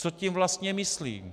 Co tím vlastně myslí?